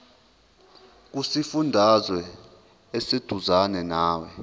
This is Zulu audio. kusifundazwe oseduzane nawe